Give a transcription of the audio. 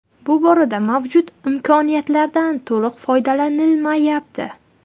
Bu borada mavjud imkoniyatlardan to‘liq foydalanilmayapti.